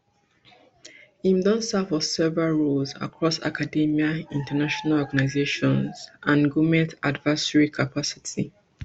im don serve for several roles across academia international organizations and goment advisory capacities